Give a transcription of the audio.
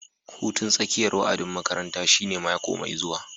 Hutun tsakiyar wa'adin makaranta shine mako mai zuwa